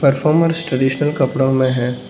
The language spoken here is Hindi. परफॉर्मेंस ट्रेडिशनल कपड़ा में है।